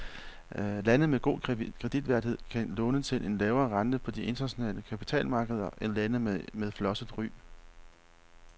Lande med god kreditværdighed kan låne til en lavere rente på de internationale kapitalmarkeder end lande med flosset ry.